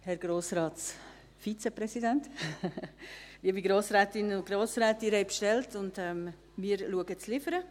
Herr Grossratsvizepräsident, liebe Grossrätinnen und Grossräte, Sie haben bestellt, und wir schauen, zu liefern.